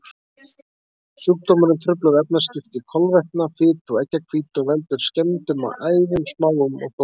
Sjúkdómurinn truflar efnaskipti kolvetna, fitu og eggjahvítu og veldur skemmdum á æðum, smáum og stórum.